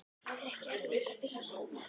Er ekki erfitt að finna vinnu þar?